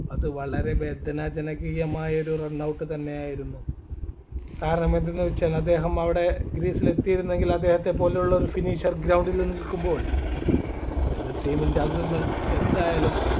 അത് വളരെ വേദനാജനകീയമായ ഒരു run out തന്നെയായിരുന്നു കാരണം എന്തെന്ന് വെച്ചാൽ അദ്ദേഹം അവിടെ crease ൽ എത്തിയിരുന്നെങ്കിൽ അദ്ദേഹത്തെ പോലെയുള്ളൊരു finisher ground ൽ നിൽക്കുമ്പോൾ എതിർ team ൻ്റെ അംഗങ്ങൾ